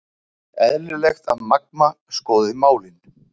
Eðlilegt að Magma skoði málin